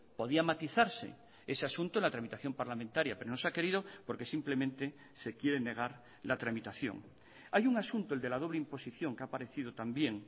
podía matizarse ese asunto en la tramitación parlamentaria pero no se ha querido porque simplemente se quiere negar la tramitación hay un asunto el de la doble imposición que ha aparecido también